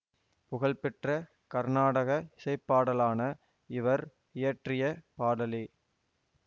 புகழ்பெற்ற கர்நாடக இசைப்பாடலான இவர் இயற்றிய பாடலே